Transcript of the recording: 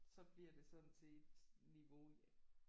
Så bliver det sådan til et niveau